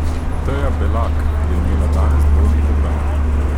Teja Belak je imela danes dvojni program.